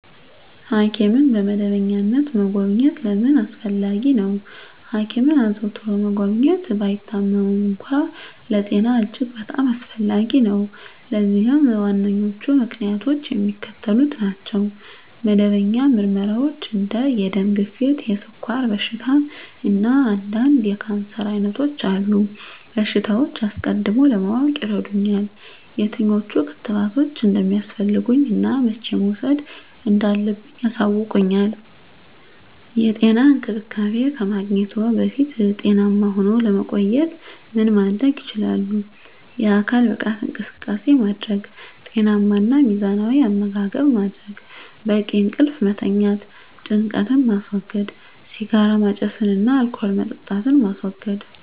ሐኪምን በመደበኛነት መጎብኘት ለምን አስፈለጊ ነው? ሐኪምን አዘውትሮ መጎብኘት፣ ባይታመሙም እንኳ፣ ለጤና እጅግ በጣም አስፈላጊ ነው። ለዚህም ዋነኞቹ ምክንያቶች የሚከተሉት ናቸው። መደበኛ ምርመራዎች እንደ የደም ግፊት፣ የስኳር በሽታ፣ እና አንዳንድ የካንሰር ዓይነቶች ያሉ በሽታዎችን አስቀድሞ ለማወቅ ይረዱኛል። የትኞቹ ክትባቶች እንደሚያስፈልጉኝ እና መቼ መውሰድ እንዳለብኝ ያሳውቁኛል። *የጤና እንክብካቤ ከማግኘትዎ በፊት ጤናማ ሁነው ለመቆየት ምን ማድረግ ይችላሉ?*የአካል ብቃት እንቅስቃሴ ማድረግ * ጤናማ እና ሚዛናዊ አመጋገብ ማድረግ: * በቂ እንቅልፍ መተኛት * ጭንቀትን ማስወገድ * ሲጋራ ማጨስን እና አልኮል መጠጣትን ማስወገድ: